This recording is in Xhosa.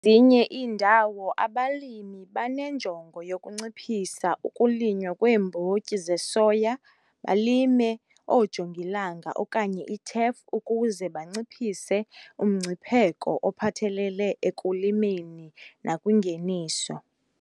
zinye iindawo abalimi banenjongo yokunciphisa ukulinywa kweembotyi zesoya balime oojongilanga okanye itef ukuze banciphise umngcipheko ophathelele ekulimeni nakwingeniso.